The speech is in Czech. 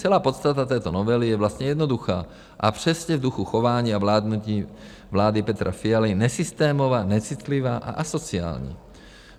Celá podstata této novely je vlastně jednoduchá a přesně v duchu chování a vládnutí vlády Petra Fialy nesystémová, necitlivá a asociální.